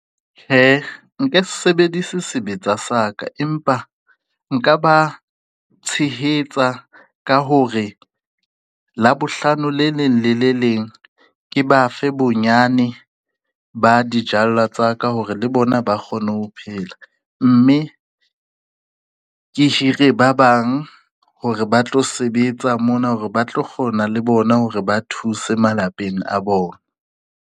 Tjhe, nke se sebedise sebetsa sa ka, empa nka ba tshehetsa ka hore Labohlano le leng lele leng. Ke ba fe bonyane ba dijalo tsa ka hore le bona ba kgone ho phela, mme ke hire ba bang hore ba tlo sebetsa mona hore ba tlo kgona le bona hore ba thuse malapeng a bona.